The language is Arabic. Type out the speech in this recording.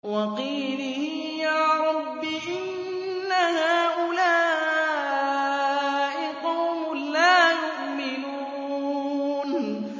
وَقِيلِهِ يَا رَبِّ إِنَّ هَٰؤُلَاءِ قَوْمٌ لَّا يُؤْمِنُونَ